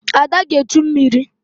Ada ga-echu mmiri